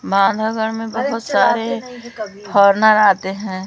माधवगढ़ में बहोत सारे फॉरेनर आते हैं।